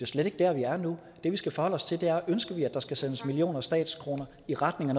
slet ikke der vi er nu det vi skal forholde os til er om ønsker at der skal sendes millioner af statskroner i retning af